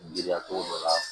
Giriya togo dɔ la